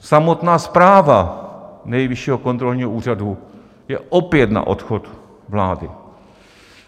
Samotná zpráva Nejvyššího kontrolního úřadu je opět na odchod vlády.